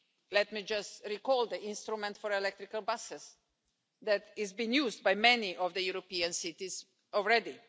Let me just recall the instrument for electrical buses that is being used by many of the European cities already.